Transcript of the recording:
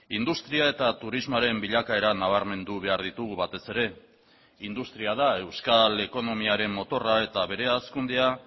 industria eta turismoaren bilakaera nabarmendu behar ditugu batez ere industria da euskal ekonomiaren motorra eta bere hazkundea